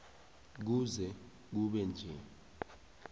kuze kube nje